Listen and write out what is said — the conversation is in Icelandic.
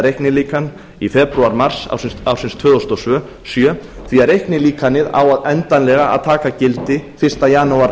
reiknilíkan í febrúar mars ársins tvö þúsund og sjö því reiknilíkanið á endanlega taka gildi fyrsta janúar